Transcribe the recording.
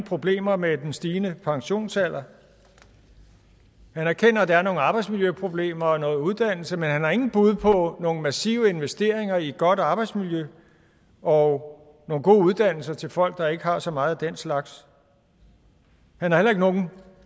problemer har med den stigende pensionsalder han erkender at der er nogle arbejdsmiljøproblemer og noget uddannelse men han har ingen bud på nogle massive investeringer i et godt arbejdsmiljø og nogle gode uddannelser til folk der ikke har så meget af den slags han har heller ikke nogen